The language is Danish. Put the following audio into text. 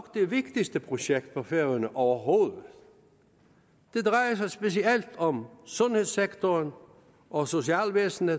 det vigtigste projekt for færøerne overhovedet det drejer sig specielt om sundhedssektoren og socialvæsenet